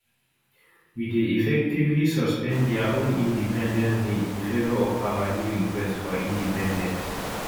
we dey effectively suspend dia own independence day in favour of our new request for independence